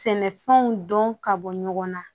Sɛnɛfɛnw dɔn ka bɔ ɲɔgɔn na